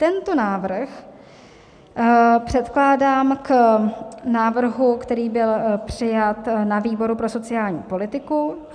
Tento návrh předkládám k návrhu, který byl přijat na výboru pro sociální politiku.